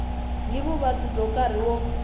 ni vuvabyi bya nkarhi wo